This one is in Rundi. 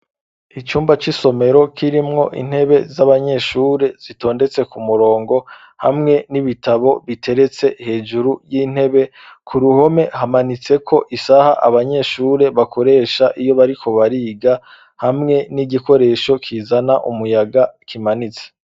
Icumba c'isomero kirimwo intebe z'abanyeshure zitondetse ku murongo hamwe n'ibitabo biteretse hejuru y'intebe. Ku ruhome hamanitseko isaha abanyeshure bakoresha iyo bariko bariga hamwe n'igikoresho kizana umuyaga kimanitse.